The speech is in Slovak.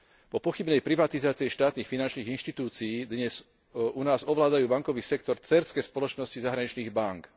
Po pochybnej privatizácii štátnych finančných inštitúcií dnes u nás ovládajú bankový sektor dcérske spoločnosti zahraničných bánk.